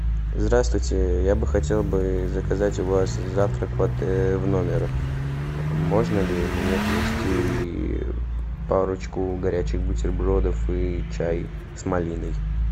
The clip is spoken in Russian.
здравствуйте я бы хотел бы заказать у вас завтрак в номер можно ли мне принести парочку горячих бутербродов и чай с малиной